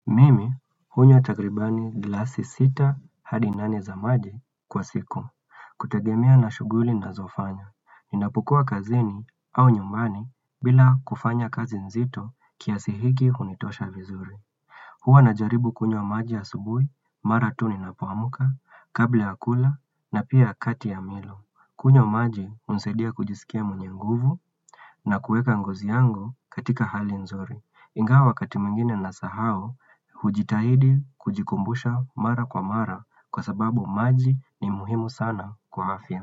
Mimi, hunywa tagribani glasi sita hadi nane za maji kwa siku. Kutegemea na shughuli nazofanya. Ninapukua kazini au nyumbani bila kufanya kazi nzito kiasi hiki hunitosha vizuri. Huwa najaribu kunywa maji a subui, mara tu ni na poamka, kabla ya kula na pia kati ya milo. Kunywa maji unisaidia kujisikia mwenye nguvu na kuweka ngozi yangu katika hali nzuri. Ingawa wakati mingine na sahau hujitahidi kujikumbusha mara kwa mara kwa sababu maji ni muhimu sana kwa afya.